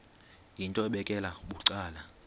yinto ebekela bucala